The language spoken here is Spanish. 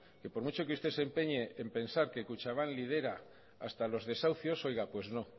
que por mucho que usted se empeñe en pensar que kutxabank lidera hasta los desahucios pues no